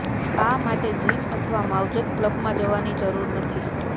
આ માટે જિમ અથવા માવજત ક્લબમાં જવાની જરૂર નથી